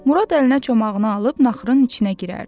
Murad əlinə çomağını alıb naxırın içinə girərdi.